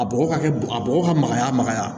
A bɔgɔ ka kɛ a bɔgɔ ka magaya magaya